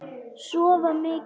Sofa mikið.